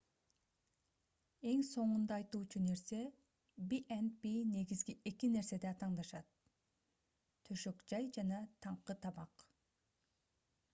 эң соңунда айтуучу нерсе b&b негизги эки нерседе атаандашат төшөк-жай жана таңкы тамак